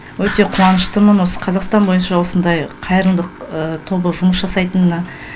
өте қуаныштымын осы қазақстан бойынша осындай қайырымдылық тобы жұмыс жасайтынына